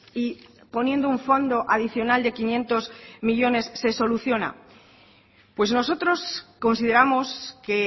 y poniendo un fondo adicional de quinientos millónes se soluciona pues nosotros consideramos que